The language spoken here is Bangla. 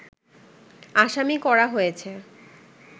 আসামি করা হয়েছে